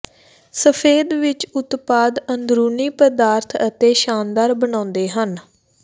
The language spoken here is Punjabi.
ਸਫੈਦ ਵਿਚ ਉਤਪਾਦ ਅੰਦਰੂਨੀ ਪਦਾਰਥ ਅਤੇ ਸ਼ਾਨਦਾਰ ਬਣਾਉਂਦੇ ਹਨ